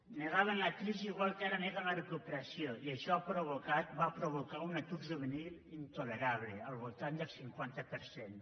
negaven la crisi igual que ara neguen la recuperació i això va provocar un atur juvenil intolerable al voltant del cinquanta per cent